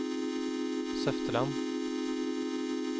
Søfteland